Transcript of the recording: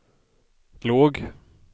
låg